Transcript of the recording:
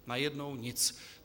Najednou nic.